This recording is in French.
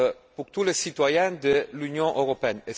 pour tous les citoyens de l'Union européenne.